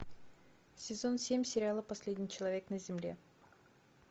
сезон семь сериала последний человек на земле